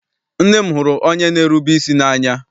Nne m hụrụ onye n'erube isi n'anya.